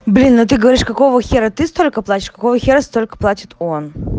блин а ты говоришь какого хера ты столько платишь какого хера столько платит он